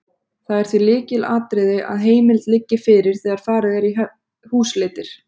Það er því lykilatriði að heimild liggi fyrir þegar farið er í húsleitir.